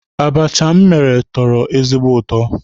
Abacha m mere tọrọ ezigbo ụtọ.